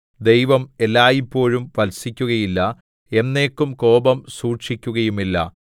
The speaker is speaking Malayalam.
ദൈവം എല്ലായ്പോഴും ഭർത്സിക്കുകയില്ല എന്നേക്കും കോപം സൂക്ഷിക്കുകയുമില്ല